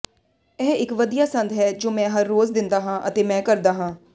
ਇਹ ਇੱਕ ਵਧੀਆ ਸੰਦ ਹੈ ਜੋ ਮੈਂ ਹਰ ਰੋਜ਼ ਦਿੰਦਾ ਹਾਂ ਅਤੇ ਮੈਂ ਕਰਦਾ ਹਾਂ